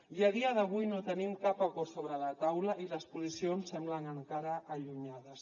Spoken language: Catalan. i a dia d’avui no tenim cap acord sobre la taula i les posicions semblen encara allunyades